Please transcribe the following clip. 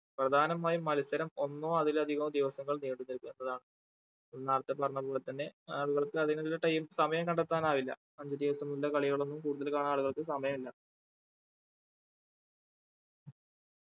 പ്രധാനമായും മത്സരം ഒന്നോ അതിലധികൊ ദിവസങ്ങൾ നീണ്ടു നിൽക്കുന്നതാണ് നേരത്തെ പറഞ്ഞപോലെ തന്നെ അതുപോലെ അതിന് ഉള്ള time സമയം കണ്ടെത്താൻ ആവില്ല അഞ്ചു ദിവസം നീണ്ട കളികളോന്നും കൂടുതൽ കാണാൻ ആളുകൾക്ക് സമയുല്ല